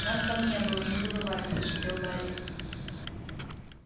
нас там не было не забывай прошипел гарри